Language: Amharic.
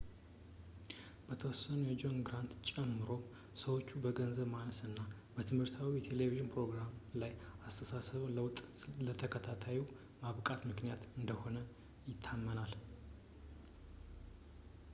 በተወሰኑ ጆን ግራንትን ጨምሮ ሰዎች የገንዘብ ማነስ እና በትምህርታዊ የቴሌቪዥን ፕሮራም ላይ የአስተሳሰብ ለውጥ ለተከታታዩ ማብቃት ምልክት እንደሆነ ይታመናል